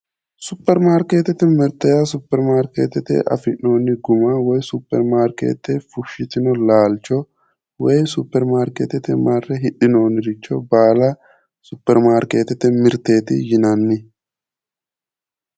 Superimaarkeetete mirte yaa Superimaarkeetete afi'noonni guma woyi Superimaarkeete fushshitino laalcho Superimaarkeetete marre hidhinoonniricho baala Superimaarkeetete mirteeti yinanni.